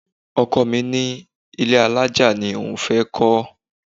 Ọkọ mi ní ilé alájà ni òun fẹ́ kọ́.